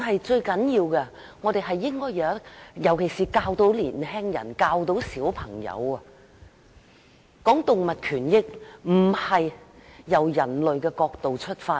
最重要的是，我們應該教導小朋友、年輕人有關動物權益，不應從人類的角度出發。